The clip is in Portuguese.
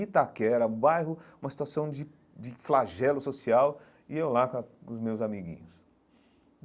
Itaquera, um bairro, uma situação de de flagelo social, e eu lá com a com os meus amiguinhos.